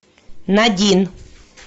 надин